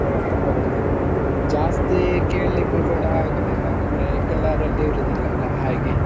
ಹೌದು, ಜಾಸ್ತಿ ಕೇಳಿಕ್ಕು ಕೂಡ ಆಗುದಿಲ್ಲ ಅಂದ್ರೆ ಕೆಲವರಲ್ಲಿ ಇರುದಿಲ್ಲಲ ಹಾಗೆ.